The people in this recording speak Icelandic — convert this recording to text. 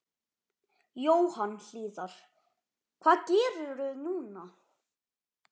Jóhann Hlíðar: Hvað gerirðu núna?